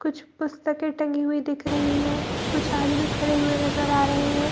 कुछ पुस्तके टंगी हुई दिख रही हैं कुछ आदमी खड़े हुए नजर आ रहे हैं ।